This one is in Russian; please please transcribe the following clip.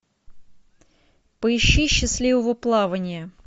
поищи счастливого плавания